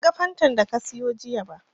Ban ga Fantan da ka sayo jiya ba